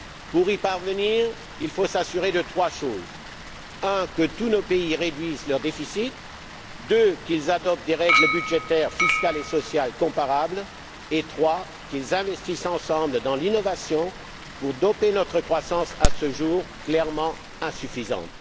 Pour y parvenir, il faut s'assurer de trois choses. Premièrement, que tous nos pays réduisent leur déficit, deuxièmement, qu'ils adoptent des règles budgétaires, fiscales et sociales comparables et, troisièmement, qu'ils investissent ensemble dans l'innovation pour doper notre croissance, à ce jour clairement insuffisante.